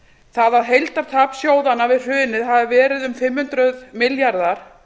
það að heildartap sjóðanna við hrunið hafi verið um fimm hundruð milljarðar